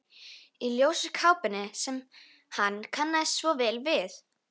Í ljósu kápunni sem hann kannast svo vel við.